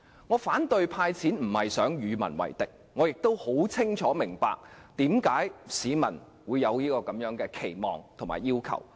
我反對"派錢"，並非想與民為敵，我亦清楚明白市民為何會有此期望和要求。